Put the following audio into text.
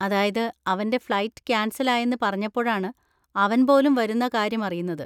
അതായത്, അവന്‍റെ flight cancel ആയെന്ന് പറഞ്ഞപ്പോഴാണ് അവൻ പോലും വരുന്ന കാര്യം അറിയുന്നത്.